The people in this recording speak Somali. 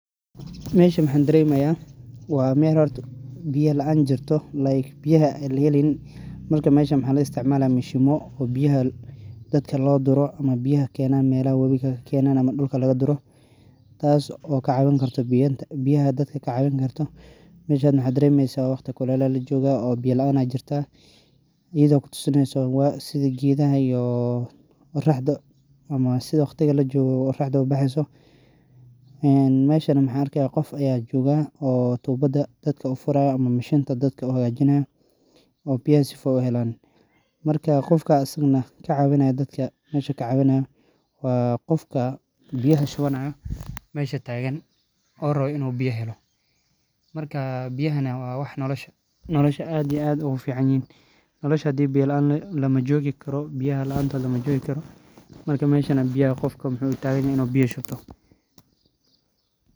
Meshan maxa daremi haya in ee bita laan kajirto meshan maxaa daremi haya biya laan iyo waqti kulel aya lagu jira marka maxan arki haya qof cawini hayo sifa dadka ee biyaha helan marka dadkana wey sugi hayan maxaa yele biya laan mala nolani karo marka qofkan biya in u sugi hayo ayan arki haya.